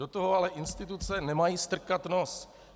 Do toho ale instituce nemají strkat nos.